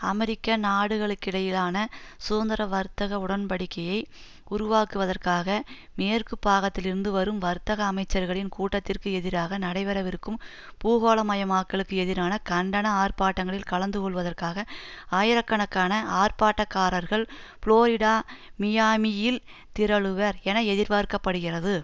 அமெரிக்க நாடுகளுக்கிடையிலான சுதந்திர வர்த்தக உடன்படிக்கையை உருவாக்குவதற்காக மேற்கு பாகத்திலிருந்து வரும் வர்த்தக அமைச்சர்களின் கூட்டத்திற்கு எதிராக நடைபெறவிருக்கும் பூகோளமயமாக்கலுக்கு எதிரான கண்டன ஆர்ப்பாட்டங்களில் கலந்து கொள்வதற்காக ஆயிரக்கணக்கான ஆர்ப்பாட்டக்காரர்கள் புளோரிடா மியாமியில் திரளுவர் என எதிர்பார்க்க படுகிறது